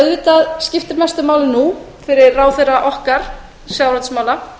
auðvitað skiptir mestu máli nú fyrir ráðherra okkar sjávarútvegsráðherra að